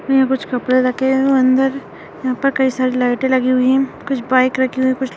कुछ कपडे रखे हुए है अंदर ऊपर कई सारे लाइटे लगी हुए है कुछ बाइक रखी हुए हैं।